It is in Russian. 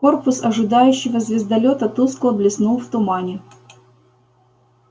корпус ожидающего звездолёта тускло блеснул в тумане